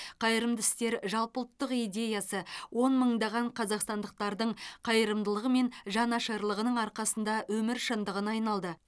қайырымды істер жалпыұлттық идеясы он мыңдаған қазақстандықтардың қайырымдылығы мен жанашырлығының арқасында өмір шындығына айналды